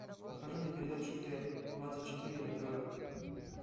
покажи мне передачу т двадцать четыре на тв